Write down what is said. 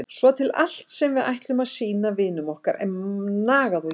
Svo til allt sem við ætlum að sýna vinum okkar er nagað og étið.